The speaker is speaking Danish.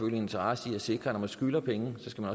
en interesse i at sikre at når man skylder penge skal